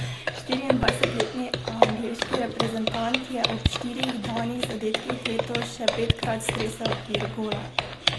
Štiriindvajsetletni angleški reprezentant je ob štirih danih zadetkih letos še petkrat stresel okvir gola.